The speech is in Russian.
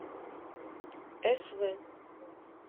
св